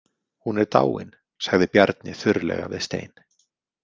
Hún er dáin, sagði Bjarni þurrlega við Stein.